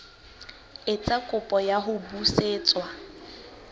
etsa kopo ya ho busetswa